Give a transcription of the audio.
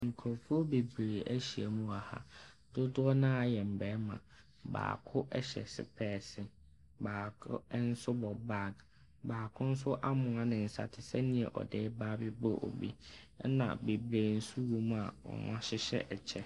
Nkurɔfoɔ bebree ahyia mu wɔ ha. Dodoɔ no ara yɛ mmarima. Baako hyɛ sopɛɛse. Baako nso bɔ bag. Baako nso amoa ne nsa te sɛ deɛ ɔde reba abɛbɔ obi, ɛna bebree nso wɔ mu a wɔahyehyɛ ɛkyɛ.